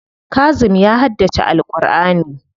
Kazim ya haddace Al'kur'ani.